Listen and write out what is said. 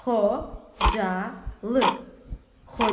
Xocalı, Xocalı.